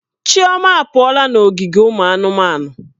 Chioma apụọla n'ogige ụmụ anụmanụ.